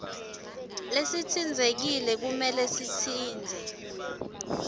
lesitsintsekile kumele sitsintse